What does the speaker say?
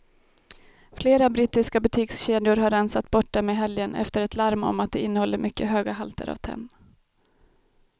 Flera brittiska butikskedjor har rensat bort dem i helgen efter ett larm om att de innehåller mycket höga halter av tenn.